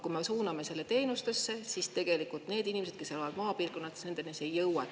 Kui me suuname selle teenustesse, siis nende inimesteni, kes elavad maapiirkondades, see ei jõua.